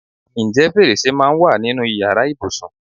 Ǹjẹ́ fèrèsé máa ń wà nínú ìyára ibùsùn?